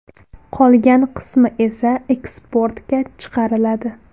Qolgan qismi esa eksportga chiqariladi.